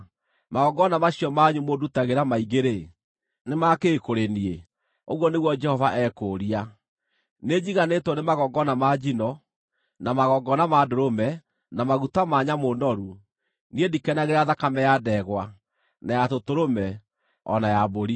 “Magongona macio manyu mũndutagĩra maingĩ-rĩ, nĩ ma kĩ kũrĩ niĩ?” Ũguo nĩguo Jehova ekũũria. “Nĩnjiganĩtwo nĩ magongona ma njino, na magongona ma ndũrũme, na maguta ma nyamũ noru; niĩ ndikenagĩra thakame ya ndegwa, na ya tũtũrũme, o na ya mbũri.